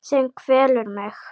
Sem kvelur mig.